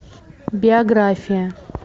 биография